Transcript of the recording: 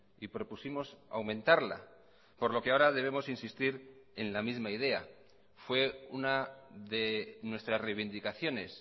y propusimos aumentarla por lo que ahora debemos insistir en la misma idea fue una de nuestras reivindicaciones